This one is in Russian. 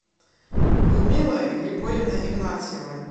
людмилой григорьевной игнатьевой